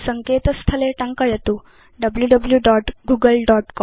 सङ्केत स्थले टङ्कयतु wwwgooglecom